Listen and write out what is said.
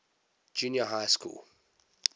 junior high schools